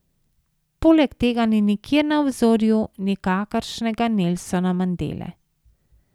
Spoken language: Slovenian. Poleg tega ni nikjer na obzorju nikakršnega Nelsona Mandele.